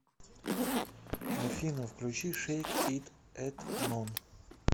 афина включи шейк ит этнон